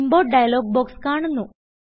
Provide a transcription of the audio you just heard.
import dialog box കാണുന്നു